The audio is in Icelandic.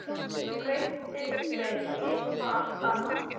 Breytti þeim í eitthvað allt annað.